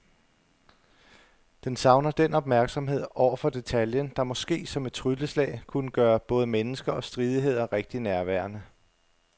Den savner den opmærksomhed over for detaljen, der måske som et trylleslag kunne gøre både mennesker og stridigheder rigtig nærværende.